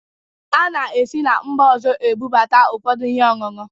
A na-esi na mba ọzọ ebụbata ụfọdụ ihe ọñụñụ